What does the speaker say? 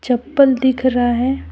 चप्पल दिख रहा है।